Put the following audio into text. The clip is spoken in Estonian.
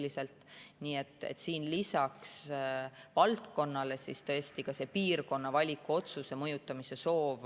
Nii et lähtetoetusega on lisaks valdkonnale tõesti ka see piirkonna valiku mõjutamise soov.